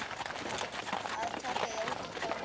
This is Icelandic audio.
Að taka í útrétta hönd